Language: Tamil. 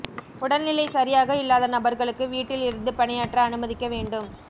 உடல்நிலை சரியாக இல்லாத நபர்களுக்கு வீட்டில் இருந்து பணியாற்ற அனுமதிக்க வேண்டும்